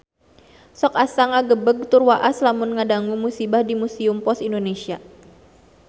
Sok asa ngagebeg tur waas lamun ngadangu musibah di Museum Pos Indonesia